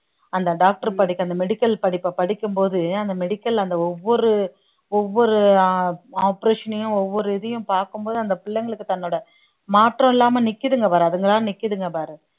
அந்த doctor படிப்பை அந்த medical படிப்பை படிக்கும் போது அந்த medical அந்த ஒவ்வொரு ஒவ்வொரு ஆஹ் operation ஐயும் ஒவ்வொரு இதையும் பார்க்கும் போது அந்த பிள்ளைங்களுக்கு தன்னோட மாற்றம் இல்லாம நிக்குதுங்க பாரு அதுங்களா நிக்குதுங்க பாரு